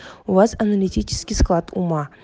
у вас аналитический склад ума